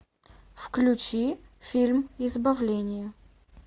включи фильм избавление